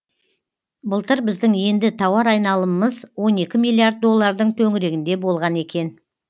былтыр біздің енді тауар айналымымыз он екі миллиард доллардың төңірегінде болған екен